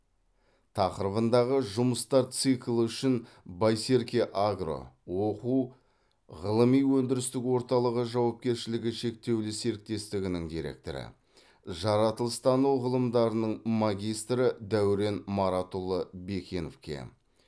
тақырыбындағы жұмыстар циклі үшін байсерке агро оқу ғылыми өндірістік орталығы жауапкершілігі шектеулі серіктестігінің директоры жаратылыстану ғылымдарының магистрі дәурен маратұлы бекеновке